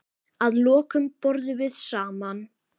Að lokum borðum við saman.